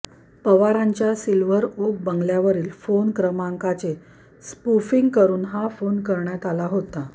पवारांच्या silver oak बंगल्यावरील phone क्रमांकाचे स्पूफिंग करून हा फोन करण्यात आला होता